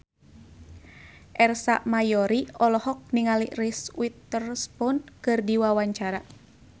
Ersa Mayori olohok ningali Reese Witherspoon keur diwawancara